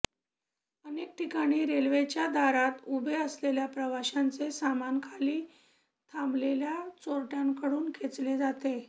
अनेक ठिकाणी रेल्वेच्या दारात उभे असलेल्या प्रवाशांचे सामान खाली थांबलेल्या चोरट्यांकडून खेचले जाते